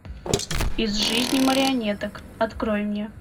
из жизни марионеток открой мне